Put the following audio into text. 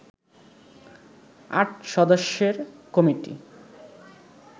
৮ সদস্যের কমিটি